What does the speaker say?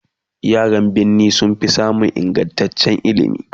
yaran birni sunfi samun ingantaccen ilimi